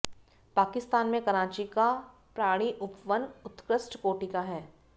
पाकिस्तान में कराची का प्राणिउपवन उत्कृष्ट कोटि का है